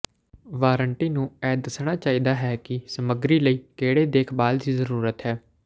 warranty ਨੂੰ ਇਹ ਦੱਸਣਾ ਚਾਹੀਦਾ ਹੈ ਕਿ ਸਮੱਗਰੀ ਲਈ ਕਿਹੜੀ ਦੇਖਭਾਲ ਦੀ ਜ਼ਰੂਰਤ ਹੈ